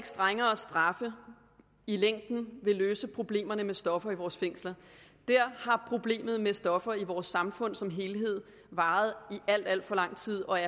strengere straffe i længden vil løse problemerne med stoffer i vores fængsler problemet med stoffer i vores samfund har som helhed varet i alt alt for lang tid og